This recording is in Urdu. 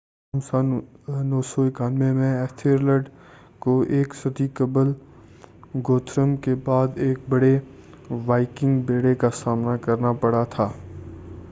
تاہم سن 991 میں ایتھلریڈ کو ایک صدی قبل گوتھرم کے بعد ایک بہت بڑے وائکنگ بیڑے کا سامنا کرنا پڑا تھا